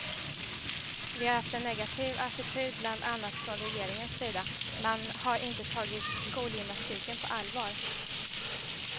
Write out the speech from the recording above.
Vi har haft en negativ attityd bland annat från regeringens sida, man har inte tagit skolgymnastiken på allvar.